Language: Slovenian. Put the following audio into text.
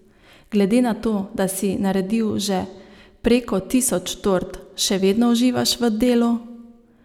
Glede na to, da si naredil že preko tisoč tort, še vedno uživaš v delu?